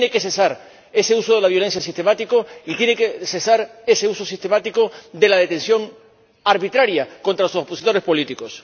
Tiene que cesar ese uso de la violencia sistemático y tiene que cesar ese uso sistemático de la detención arbitraria contra los opositores políticos.